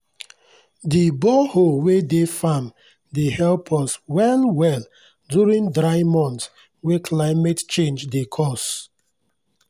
the borehole wey dey farm dey help us well well during dry months wey climate change dey cause.